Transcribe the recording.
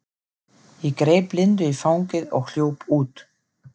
Ég greip Lindu í fangið og hljóp út.